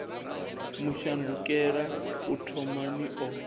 mu shandukela u thomani o